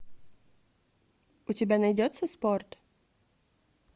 у тебя найдется спорт